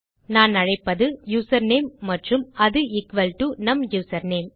நான் அழைப்பது யூசர்நேம் மற்றும் அது எக்குவல் டோ நம் யூசர்நேம்